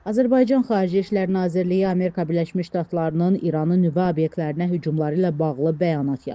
Azərbaycan Xarici İşlər Nazirliyi Amerika Birləşmiş Ştatlarının İranın nüvə obyektlərinə hücumları ilə bağlı bəyanat yayıb.